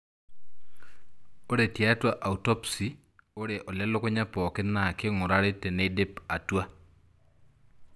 Ore tiatua autopsy, ore olelukunya pokin naa kingurari tenidip atwa.